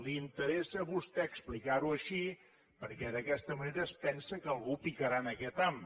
li interessa a vostè explicar ho així perquè d’aquesta manera es pensa que algú picarà aquest ham